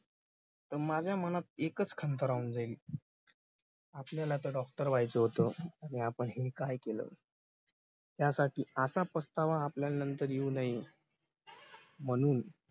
तर माझ्या मनात एकच खंत राहून जाईल. आपल्याला आता doctor व्हायचं होत नि आपण हे काय केलं त्यासाठी असा पचतावा आपल्याला नंतर येऊ नये म्हणून